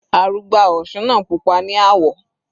Arugbá òsun náà pupa ní àwọ̀.